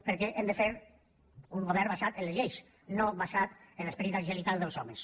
perquè hem de fer un govern basat en les lleis no basat en l’esperit angelical dels homes